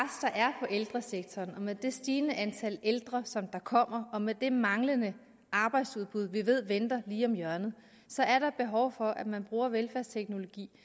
er på ældresektoren med det stigende antal ældre som kommer og med det manglende arbejdsudbud vi ved venter lige om hjørnet så er der behov for at man bruger velfærdsteknologi